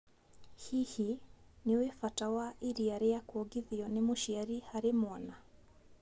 hihi, nĩũĩ bata wa iria rĩa kuongithio ni mũciari harĩ mwana